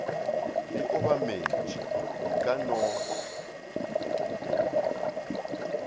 di obametšwe e ka no